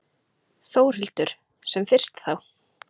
Þórhildur: Sem fyrst þá?